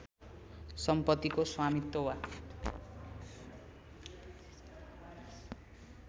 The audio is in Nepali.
सम्पत्तिको स्वामित्व वा